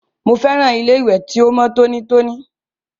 Mo fẹ́ràn ilé ìwẹ̀ ti o mọ tonítoní.